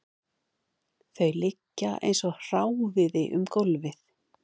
Þau liggja eins og hráviði um gólfið